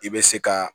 I bɛ se ka